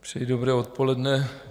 Přeji dobré odpoledne.